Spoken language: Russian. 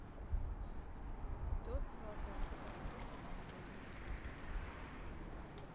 кто отзывался о стихах пушкина как о возмутительных